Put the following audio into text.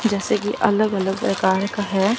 जैसे कि अलग अलग प्रकार का है।